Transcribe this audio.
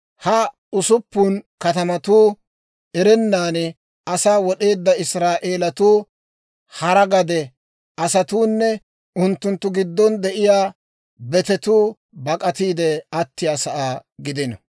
Ha usuppun katamatuu erennan asaa wod'eedda Israa'eelatuu, hara gade asatuunne unttunttu giddon de'iyaa betetuu bak'atiide attiyaasaa gidino.